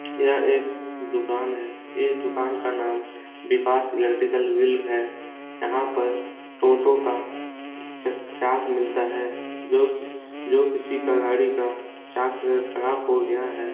यह एक दुकान है ये दुकान का नाम विकास इलेट्रिकल व्हील है यहाँ पर टोटो का चक्का मिलता है जो क़िसी जो किसी का गाड़ी का चक्का अगर खराब हो गया है |